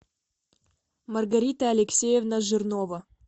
маргарита алексеевна жирнова